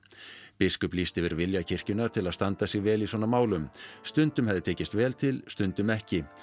biskup lýsti yfir vilja kirkjunnar til að standa sig vel í svona málum stundum hefði tekist vel til stundum ekki